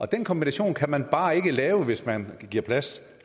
den kombination kan man bare ikke lave hvis man giver plads